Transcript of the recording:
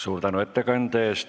Suur tänu ettekande eest!